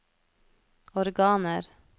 organer